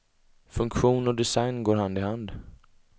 Funktion och design går hand i hand.